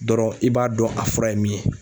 Dɔrɔn i b'a dɔn a fura ye min ye.